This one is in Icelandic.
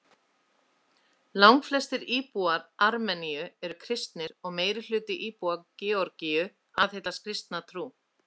Langflestir íbúar Armeníu eru kristnir og meirihluti íbúa Georgíu aðhyllist kristna trú.